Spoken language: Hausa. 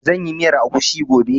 Zan yi miyar agushi gobe